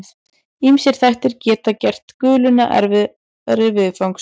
Ýmsir þættir geta gert guluna erfiðari viðfangs.